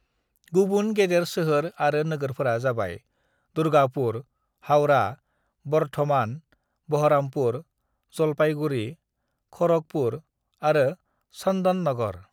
"गुबुन गेदेर सोहोर आरो नोगोरफोरा जाबाय दुर्गापुर, हावड़ा, बर्धमान, बहरामपुर, जलपाईगुड़ी, खड़गपुर आरो चन्दननगर।"